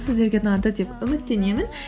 сіздерге ұнады деп үміттенемін